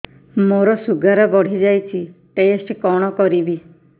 ମୋର ଶୁଗାର ବଢିଯାଇଛି ଟେଷ୍ଟ କଣ କରିବି